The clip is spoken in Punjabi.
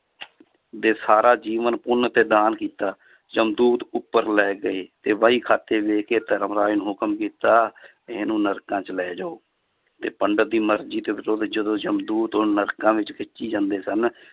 ਦੇ ਸਾਰਾ ਜੀਵਨ ਪੁੰਨ ਤੇ ਦਾਨ ਕੀਤਾ, ਜਮਦੂਤ ਉੱਪਰ ਲੈ ਗਏ ਤੇ ਵਹੀ ਖਾਤੇ ਦੇਖ ਕੇ ਧਰਮਰਾਜ ਨੇ ਹੁਕਮ ਕੀਤਾ ਵੀ ਇਹਨੂੰ ਨਰਕਾਂ 'ਚ ਲੈ ਜਾਓ, ਤੇ ਪੰਡਿਤ ਦੀ ਮਰਜ਼ੀ ਦੇ ਵਿਰੁੱਧ ਜਦੋਂ ਜਮਦੂਤ ਉਹਨੂੰ ਨਰਕਾਂ ਵਿੱਚ ਖਿੱਚੀ ਜਾਂਦੇ ਸਨ